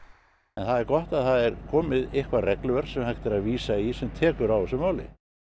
það er gott að það er komið eitthvað regluverk til að vísa í sem tekur á þessu máli